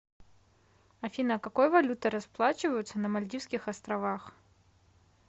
афина какой валютой расплачиваются на мальдивских островах